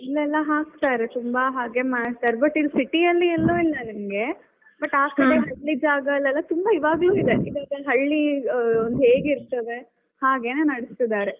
ಇಲ್ಲೆಲ್ಲಾ ಹಾಕ್ತಾರೆ ತುಂಬಾ ಹಾಗೆ ಮಾಡ್ತಾರೆ but ಇಲ್ಲಿ city ಯಲ್ಲಿ ಎಲ್ಲೂ ಇಲ್ಲ ನಿಮಗೆ but ಆ ಕಡೆ ತುಂಬಾ ಇವಾಗ್ಲೂ ಇದೆ ಹಳ್ಳಿ ಹೇಗಿರ್ತದೆ ಹಾಗೇನೆ ನಡೆಸ್ತಿದ್ದಾರೆ .